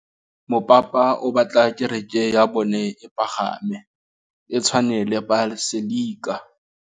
Mopapa o batla kereke ya bone e pagame, e tshwane le paselika.